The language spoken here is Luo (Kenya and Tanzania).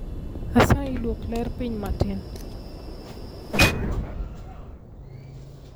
Asayi duok ler piny matin